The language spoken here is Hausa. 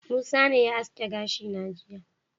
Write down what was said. Musa ne ya aske gashi na jiya.